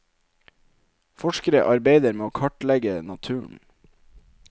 Forskere arbeider med å kartlegge naturen.